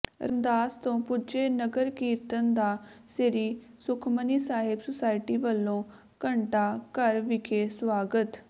ਰਮਦਾਸ ਤੋਂ ਪੁੱਜੇ ਨਗਰ ਕੀਰਤਨ ਦਾ ਸ੍ਰੀ ਸੁਖਮਨੀ ਸਾਹਿਬ ਸੁਸਾਇਟੀ ਵੱਲੋਂ ਘੰਟਾ ਘਰ ਵਿਖੇ ਸਵਾਗਤ